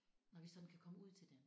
Når vi sådan kan komme ud til dem